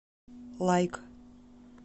лайк